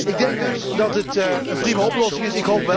Ik denk dus dat het een prima oplossing is.